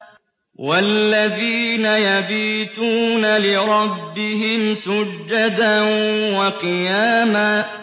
وَالَّذِينَ يَبِيتُونَ لِرَبِّهِمْ سُجَّدًا وَقِيَامًا